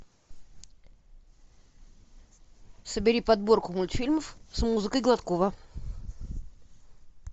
собери подборку мультфильмов с музыкой гладкова